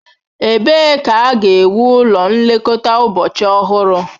Ebee ka a ga-ewu ụlọ nlekọta ụbọchị ọhụrụ?